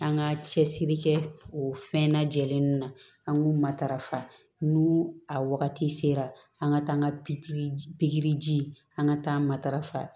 An ka cɛsiri kɛ o fɛn na jɛlen na an k'u matarafa n'u a wagati sera an ka taa an ka pikiriji an ka taa matarafa